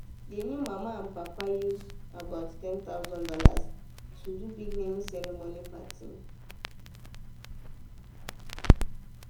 the new papa and mama use about one thousand dollars0 to do big naming ceremony party.